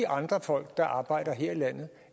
andre folk der arbejder her i landet